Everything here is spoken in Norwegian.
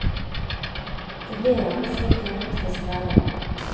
Det blir gjerne slik i en hektisk hverdag.